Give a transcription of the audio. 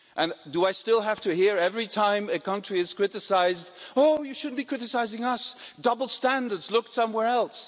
And do I still have to hear, every time a country is criticised ʻOh, you shouldn't be criticising us double standards look somewhere elseʼ.